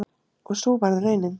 Og sú varð raunin.